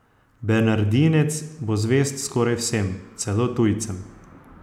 Bernardinec bo zvest skoraj vsem, celo tujcem.